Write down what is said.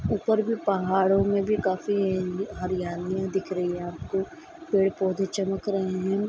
ऊपर भी पहाड़ों मे भी काफी हरियालियां दिख रही है आपको पेड़-पौधे चमक रहे है।